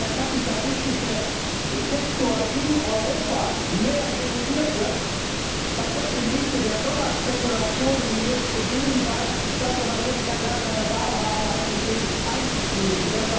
Wenn der kapitalistische Sektor in Europa mehr reguliert wird, dann werden im Lichte der Dollarspekulationen, die jetzt beginnen, die Vereinigten Staaten von Amerika gar keine andere Wahl haben, als sich dem anzuschließen.